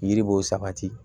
Yiri b'o sabati